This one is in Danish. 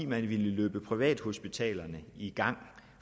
man ville løbe privathospitalerne i gang